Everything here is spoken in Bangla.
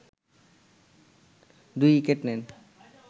২ উইকেট নেন